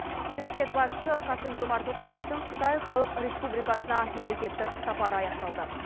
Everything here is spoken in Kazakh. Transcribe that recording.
мемлекет басшысы қасым жомарт тоқаевтың қытай халық республикасына мемлекеттік сапары аяқталды